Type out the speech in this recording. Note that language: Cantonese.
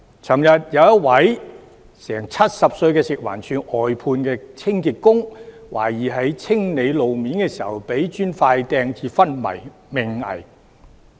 昨天有一位近70歲的食物環境衞生署外判清潔工，懷疑在清理路面時遭人投擲磚塊以致昏迷命危。